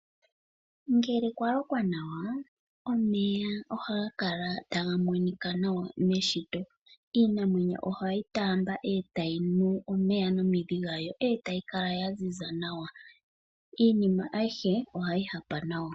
Ngele kwalokwa nawa omeya ohaga kala taga monika nawa meshito. Iimeno ohayi taamba etayi nu omeya nomidhi dhawo etayi kala yaziza nawa. Iinima aihe ohayi hapa nawa.